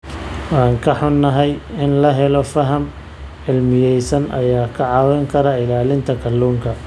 Waan ka xunahay, in la helo faham cilmiyeysan ayaa kaa caawin kara ilaalinta kalluunka.